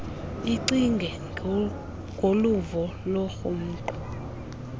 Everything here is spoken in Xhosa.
icinge ngoluvo lwequmrhu